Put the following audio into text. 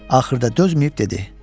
Axırda dözməyib dedi.